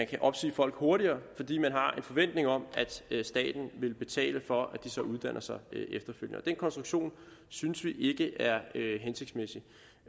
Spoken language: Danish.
kan opsige folk hurtigere fordi man har en forventning om at staten vil betale for at de så uddanner sig efterfølgende den konstruktion synes vi ikke er hensigtsmæssig